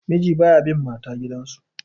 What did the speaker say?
miji ba ya bn mata gidansu